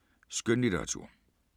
Skønlitteratur